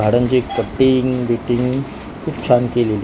झाडांची कटिंग बिटिंग खूप छान केलेली --